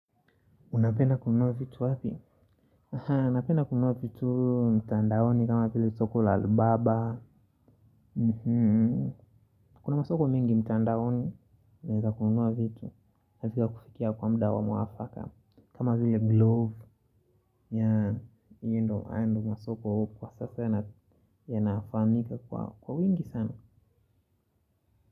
Unapenda kununua vitu wapi? Napenda kununua vitu mtandaoni kama vile soko la alibaba. Kuna masoko mingi mtandaoni naeza kununua vitu. Hakika kufikia kwa muda wa mwafaka. Kama vile glove. Ya, hayo ndio masoko huku. Kwa sasa yanafahamika kwa wingi sana.